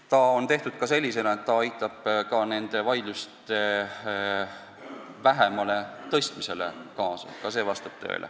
Põhiseadus on tehtud ka sellisena, et see aitab nende vaidluste vähesusele kaasa.